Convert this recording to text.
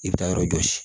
I bɛ taa yɔrɔ jɔsi